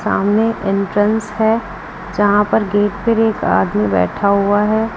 सामने एंट्रेंस है जहां पर गेट पर एक आदमी बैठा हुआ है।